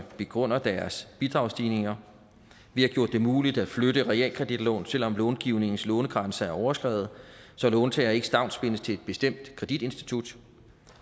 begrunder deres bidragsstigninger vi har gjort det muligt at flytte realkreditlån selv om långivningens lånegrænse er overskredet så låntager ikke stavnsbindes til et bestemt kreditinstitut